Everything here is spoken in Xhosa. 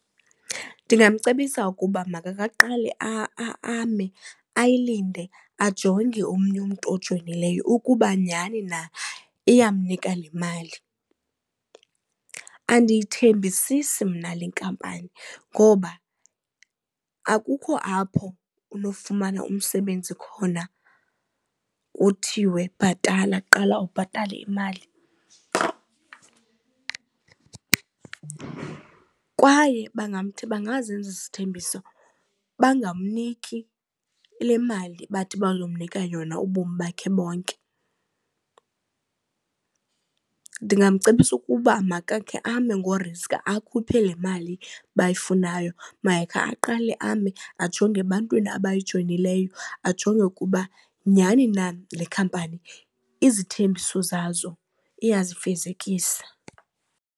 Ndingamcebisa ukuba makakaqale ame ayilindele ajonge omnye umntu ojoyineleyo ukuba nyhani na iyamnika le mali. Andiyithembisisi mna le nkampani ngoba akukho apho unofumana umsebenzi khona kuthiwe bhatala, qala ubhatale imali. Kwaye bangazenza izithembiso bangamniki le mali bathi bazomnika yona ubomi bakhe bonke, ndingamcebisa ukuba makakhe ame ngoriskha akhuphe le mali bayifunayo, makakhe aqale ame ajonge ebantwini abayijoyinileyo ajonge ukuba nyhani na le khampani izithembiso zazo iyazifezekisa.